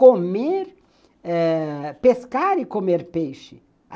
Comer eh... pescar e comer peixe.